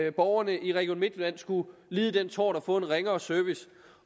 at borgerne i region midtjylland skulle lide den tort at få en ringere service